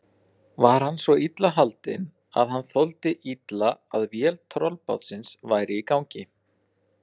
Var hann svo illa haldinn, að hann þoldi illa að vél tollbátsins væri í gangi.